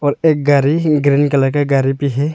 और एक गारी ग्रीन कलर का गारी भी है।